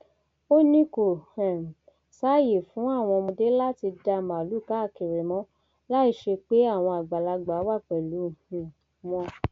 ó ní kò um sáàyè fún àwọn ọmọdé láti dá màálùú káàkiri mọ láì ṣe pé àwọn àgbàlagbà wà pẹlú um wọn